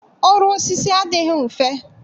Ọrụ osisi adịghị mfe